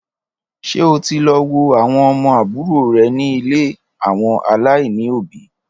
Ṣé o ti lọ wo àwọn ọmọ àbúrò rè ni ilé àwọn aláìní òbí?